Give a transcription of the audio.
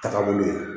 Taagabolo ye